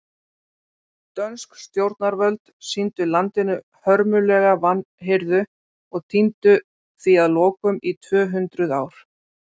Dönsk stjórnarvöld sýndu landinu hörmulega vanhirðu og týndu því að lokum í tvö hundruð ár.